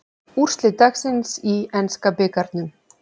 Úrslit dagsins í enska bikarnum